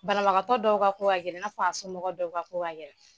Banabagatɔ dɔw ka ko ka gɛlɛ i n'a f'a somɔgɔ dɔw ko ka ko ka gɛlɛ.